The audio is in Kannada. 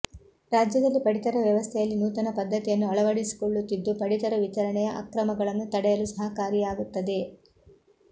ರಾಜ್ಯದಲ್ಲಿ ಪಡಿತರ ವ್ಯವಸ್ಥೆಯಲ್ಲಿ ನೂತನ ಪದ್ಧತಿಯನ್ನು ಅಳವಡಿಸಿಕೊಳ್ಳುತ್ತಿದ್ದು ಪಡಿತರ ವಿತರಣೆಯ ಅಕ್ರಮಗಳನ್ನು ತಡೆಯಲು ಸಹಕಾರಿಯಾಗುತ್ತದೆ